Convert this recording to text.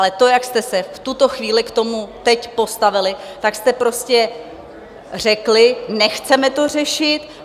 Ale to, jak jste se v tuto chvíli k tomu teď postavili, tak jste prostě řekli: Nechceme to řešit.